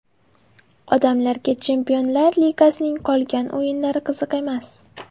Odamlarga Chempionlar ligasining qolgan o‘yinlari qiziq emas.